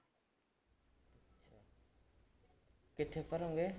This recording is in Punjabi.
ਕਿੱਥੇ ਭਰੋਂਗੇ?